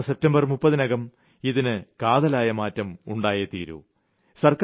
ഈ വരുന്ന സെപ്റ്റംബർ 30നകം ഇതിന് കാതലായ മാറ്റം ഉണ്ടായേ തീരൂ